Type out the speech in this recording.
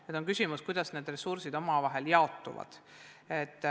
Nüüd on küsimus, kuidas need ressursid omavahel jaotuvad.